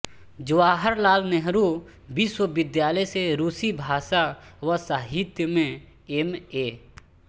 जवाहर लाल नेहरू विश्वविद्यालय से रूसी भाषा व साहित्य में एम ए